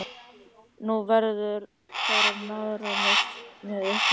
Nú verður farið niðrá stöð með ykkur!